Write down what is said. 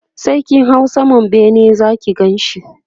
sai kin hau saman bene Zaki Ganshi